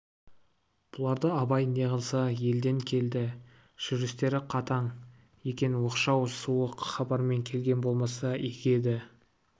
бұларды абай неғылса елден келді жүрістері қатаң екен оқшау суық хабармен келген болмаса игі еді